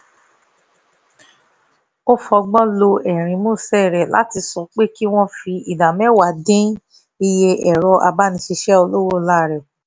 ó fọgbọ́n lo ẹ̀rín músẹ́ rẹ̀ láti sọ pé kí wọ́n fi ìdá mẹ́wàá dín iye ẹ̀rọ abánáṣiṣẹ́ olówó ńlá kù